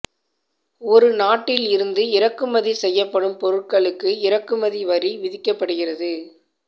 ஒரு நாட்டில் இருந்து இறக்குமதி செய்யப்படும் பொருட்களுக்கு இறக்குமதி வரி விதிக்கப்படுகிறது